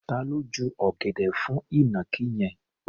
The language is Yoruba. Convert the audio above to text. Ta ló ju ọ̀gẹ̀dẹ̀ fún ìnàkí yẹn?